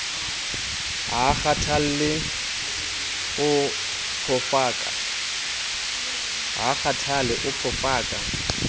ha a kgathale o phofaka